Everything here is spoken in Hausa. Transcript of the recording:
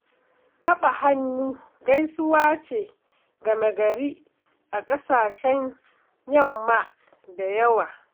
Taɓa hannu gaisuwa ce game-gari a ƙasashen yamma da yawa.